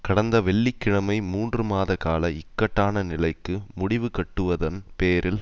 கடந்த வெள்ளி கிழமை மூன்று மாதகால இக்கட்டான நிலைக்கு முடிவுகட்டுவதன் பேரில்